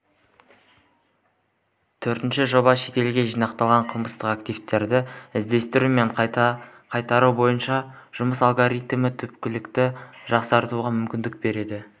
төртінші жоба шетелде жинақталған қылмыстық активтерді іздестіру мен қайтару бойынша жұмыс алгоритмін түпкілікті жақсартуға мүмкіндік береді